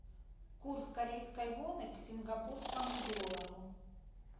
курс корейской воны к сингапурскому доллару